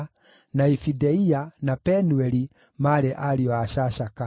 na Ifĩdeia, na Penueli maarĩ ariũ a Shashaka.